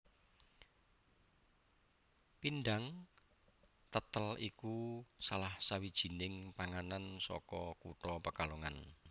Pindhang tètèl iku salah sawijining panganan saka kutha Pekalongan